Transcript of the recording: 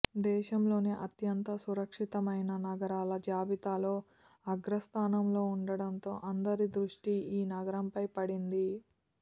దేశంలోనే అత్యంత సురక్షితమైన నగరాల జాబితాలో అగ్ర స్థానంలో ఉండడంతో అందరి దృష్టి ఈ నగరంపై పడింది